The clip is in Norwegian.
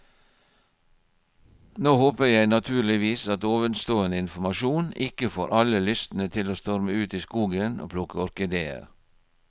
Nå håper jeg naturligvis at ovenstående informasjon ikke får alle lystne til å storme ut i skogen og plukke orkideer.